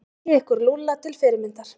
Takið ykkur Lúlla til fyrirmyndar.